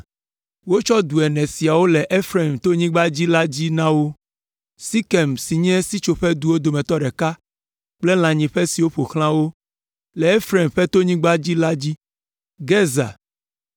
Wotsɔ du ene siawo le Efraim tonyigba la dzi la na wo: Sekem si nye sitsoƒeduwo dometɔ ɖeka kple lãnyiƒe siwo ƒo xlã wo le Efraim ƒe tonyigba la dzi, Gezer,